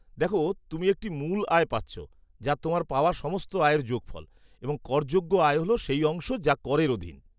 দেখ, তুমি একটি মূল আয় পাচ্ছ, যা তোমার পাওয়া সমস্ত আয়ের যোগফল, এবং করযোগ্য আয় হল সেই অংশ যা করের অধীন।